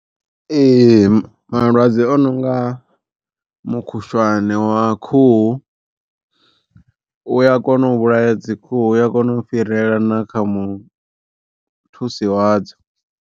Ee malwadze a no nga mukhushwane wa khuhu, u ya kona u vhulaya dzi khuhu u ya kona u fhirela na kha muthusi wadzo.